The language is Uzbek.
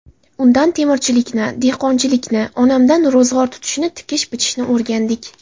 Undan temirchilikni, dehqonchilikni, onamdan ro‘zg‘or tutishni, tikish-bichishni o‘rgandik.